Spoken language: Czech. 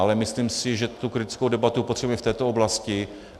Ale myslím si, že tu kritickou debatu potřebujeme v této oblasti.